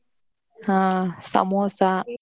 ಹಾ ಸಮೋಸ.